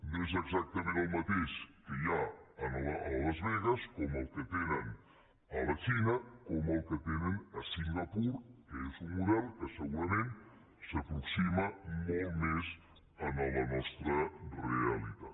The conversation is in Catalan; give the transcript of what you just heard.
no és exactament el mateix el que hi ha a las vegas que el que tenen a la xina o el que tenen a singapur que és un model que segurament s’aproxima molt més a la nostra realitat